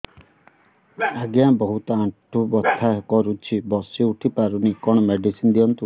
ଆଜ୍ଞା ବହୁତ ଆଣ୍ଠୁ ବଥା କରୁଛି ବସି ଉଠି ପାରୁନି କଣ ମେଡ଼ିସିନ ଦିଅନ୍ତୁ